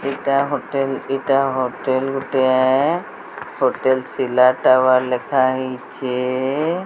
ଏଟା ହୋଟେଲ ଏଟା ହୋଟେଲ ଗୋଟିଏ ହୋଟେଲ ସିଲା ଟାୱାର ଲେଖାହେଇଛି।